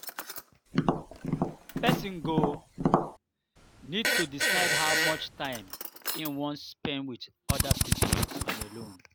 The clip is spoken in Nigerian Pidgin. person go need to decide how much time im wan spend with oda pipo and alone